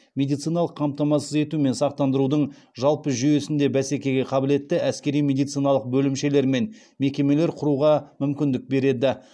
медициналық қамтамасыз ету мен сақтандырудың жалпы жүйесінде бәсекеге қабілетті әскери медициналық бөлімшелер мен мекемелер құруға мүмкіндік береді